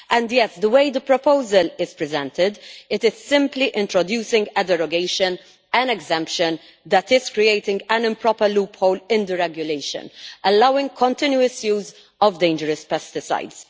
Furthermore, the way the proposal is presented, it is simply introducing a derogation an exemption that is creating an improper loophole in the regulation, allowing continuous use of dangerous pesticides.